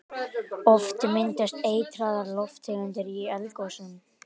Oft myndast eitraðar lofttegundir í eldgosum.